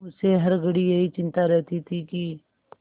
उसे हर घड़ी यही चिंता रहती थी कि